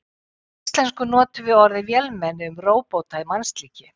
Á íslensku notum við orðið vélmenni um róbota í mannslíki.